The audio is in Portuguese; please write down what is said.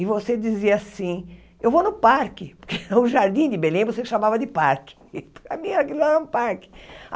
E você dizia assim, eu vou no parque, porque o Jardim de Belém você chamava de parque, para mim aquilo lá era um parque.